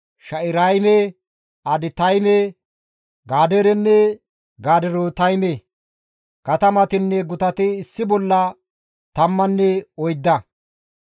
Shaa7irayme, Aditayme, Gadeerenne Gaderootayme. Katamatinne gutati issi bolla tammanne oydda.